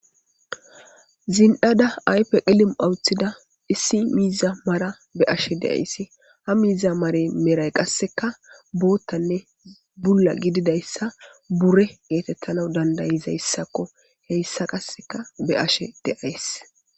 zin'ada aype qilim'a uttida issi miiza mara be'ashe de'aysi ha miiza marey medhay qasseka boottanne bulla gididayssa bure geetettana dandayizayssakko heyssa qasseka be'ashe de'ays